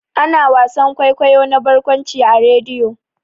Ana wasan kwaikwayo na barkwanci a rediyo.